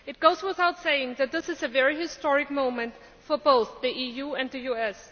It goes without saying that this is a very historic moment for both the EU and the US.